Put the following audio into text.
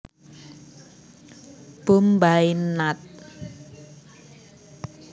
Bombay Nat